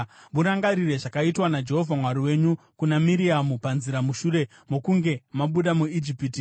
Murangarire zvakaitwa naJehovha Mwari wenyu kuna Miriamu panzira mushure mokunge mabuda muIjipiti.